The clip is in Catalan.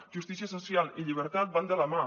justícia social i llibertat van de la mà